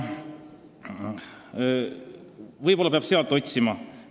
Võib-olla peab sealt seost otsima?